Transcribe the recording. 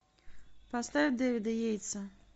поставь дэвида ейтса